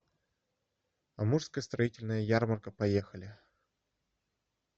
амурская строительная ярмарка поехали